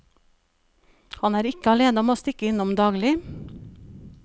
Han er ikke alene om å stikke innom daglig.